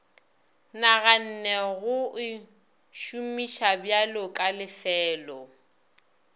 naganne go o šomišabjalo kalefelo